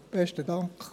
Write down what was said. Besten Dank.